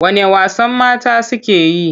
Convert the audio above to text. Wane wasan mata suke yi?